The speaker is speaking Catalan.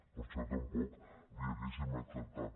per això tampoc l’hi hauríem acceptat